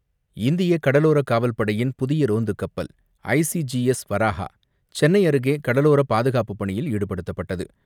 இந்தியக் கடலோரக் காவல் படையின் புதிய ரோந்துக் கப்பல் ஐசிஜிஎஸ் வராஹா சென்னை அருகே கடலோர பாதுகாப்புப் பணியில் ஈடுபடுத்தப்பட்டது.